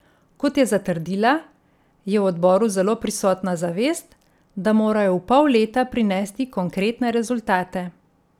Kot je zatrdila, je v odboru zelo prisotna zavest, da morajo v pol leta prinesti konkretne rezultate.